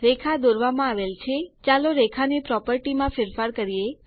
રેખા દોરવામાં આવેલ છે ચાલો રેખા ની પ્રોપર્ટી માં ફેરફાર કરીએ